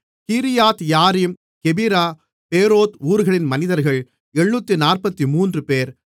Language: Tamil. கீரியாத்யாரீம் கெபிரா பேரோத் ஊர்களின் மனிதர்கள் 743 பேர்